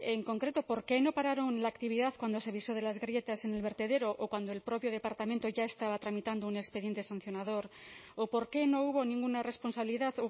en concreto por qué no pararon la actividad cuando se avisó de las grietas en el vertedero o cuando el propio departamento ya estaba tramitando un expediente sancionador o por qué no hubo ninguna responsabilidad